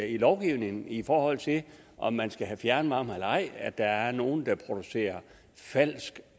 i lovgivningen i forhold til om man skal have fjernvarme eller ej at der er nogle der producerer falsk